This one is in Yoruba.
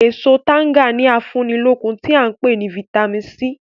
Èso tanga ni afúnilókun tí a ń pè ní "Vitamin C".